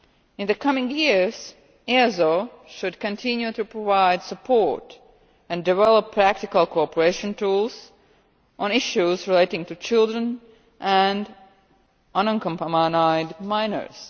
In the coming years, EASO should continue to provide support and develop practical cooperation tools on issues relating to children and unaccompanied minors.